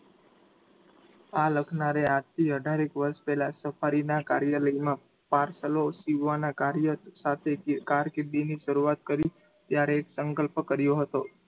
આ લખનારે આજથી અઢારેક વર્ષ પહેલા Safari ના કાર્યાલયમાં parcel સીવવાના કાર્ય સાથે કારકિર્દીની શરૂઆત કરી ત્યારે સંકલ્પ કર્યો હતો.